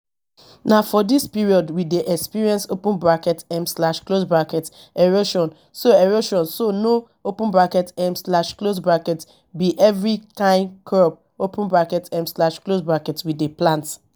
na for dis period we dey experience um erosion so erosion so no um be every kyn crop um we dey plant